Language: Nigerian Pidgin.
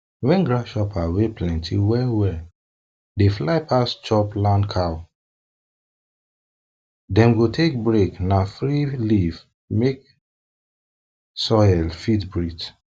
wen grasshopper wey plenty wellwell dey wellwell dey fly pass chopchop land cow dem go take break na free leave mek soil fit breathe